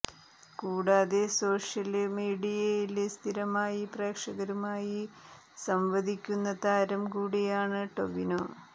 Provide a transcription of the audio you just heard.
കൂടാതെ സോഷ്യല് മീഡിയയില് സ്ഥിരമായി പ്രേക്ഷകരുമായി സംവദിക്കുന്ന താരം കൂടിയാണ് ടൊവിനോ